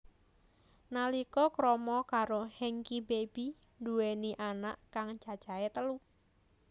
Nalika krama karo Hengky Baby nduweni anak kang cacahe telu